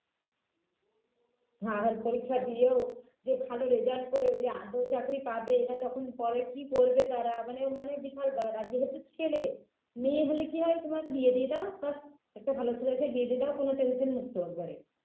আর পরীক্ষা দিয়েও যে ভালো result করে আদৌ চাকরি পাবে না তখন পরে কী করবে তারা মানে মানে বিশাল উম আর যেহেতু ছেলে মেয়ে হলে কী হয় তোমার বিয়ে দিয়ে দাও ব্যাস একটা ভালো ছেলেকে বিয়ে দিয়ে দাও কোনও tension মুক্ত একবারে